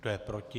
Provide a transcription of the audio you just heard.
Kdo je proti?